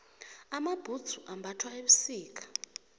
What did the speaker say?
amabhudzu ambathwa ebusika